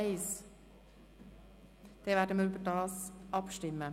– Dann werden wir darüber abstimmen.